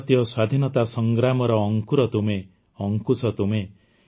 ଭାରତୀୟ ସ୍ୱାଧୀନତା ସଂଗ୍ରାମର ଅଙ୍କୁର ତୁମେ ଅଙ୍କୁଶ ତୁମେ